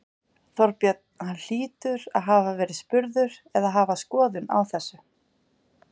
Þorbjörn: Hann hlýtur að hafa verið spurður eða hafa skoðun á þessu?